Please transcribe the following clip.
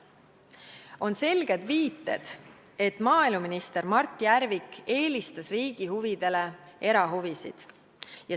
On selged viited, et maaeluminister Mart Järvik eelistas riigi huvidele erahuvisid.